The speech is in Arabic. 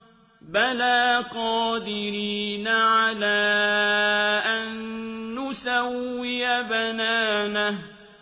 بَلَىٰ قَادِرِينَ عَلَىٰ أَن نُّسَوِّيَ بَنَانَهُ